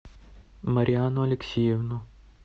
мариану алексеевну